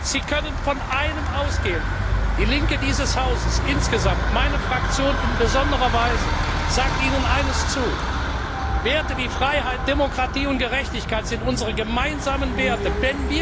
Sie können von einem ausgehen Die Linke dieses Hauses insgesamt, meine Fraktion in besonderer Weise, sagt Ihnen eines zu Werte wie Freiheit, Demokratie und Gerechtigkeit sind unsere gemeinsamen Werte.